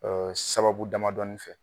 sababu damadɔnin fɛ.